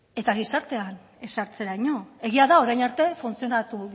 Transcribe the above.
eta gizartean ezartzeraino egia da orain arte funtzionatu